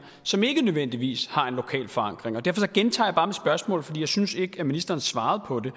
som ikke nødvendigvis har en lokal forankring derfor gentager jeg bare mit spørgsmål for jeg synes ikke at ministeren svarede på det